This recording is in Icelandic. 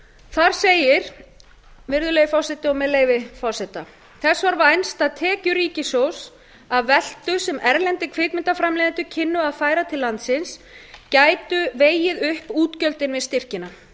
þar segir með leyfi forseta þess var vænst að tekjur ríkissjóðs af veltu sem erlendir kvikmyndaframleiðendur kynnu að færa til landsins gætu vegið upp útgjöldin með styrkina